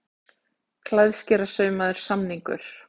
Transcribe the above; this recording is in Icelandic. Klæðskerasaumaður samningur